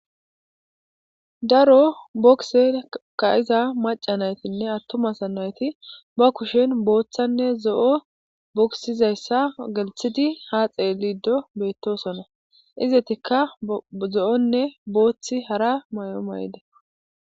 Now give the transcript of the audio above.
daro bokise ka iza maca naytinne attumasa nayti ba kushen booththanne zo7o boksizayssa gelthidi haa xe liido beettosona izetikka zo7onne booththi hara may7o may7de